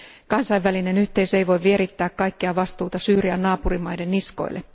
Kansainvälinen yhteisö ei voi vierittää kaikkea vastuuta Syyrian naapurimaiden niskoille.